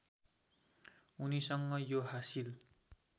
उनीसँग यो हासिल